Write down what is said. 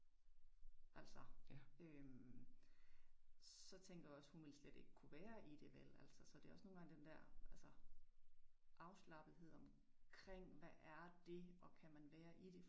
Altså øh så tænker jeg også hun vil slet ikke kunne være i det vel så det også nogle gange den der afslappethed omkring hvad er det og kan man være i det